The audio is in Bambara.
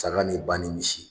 Saga ni ba ni misi